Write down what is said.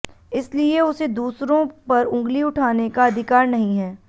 इसलिए उसे दूसरों पर उंगली उठाने का अधिकार नहीं है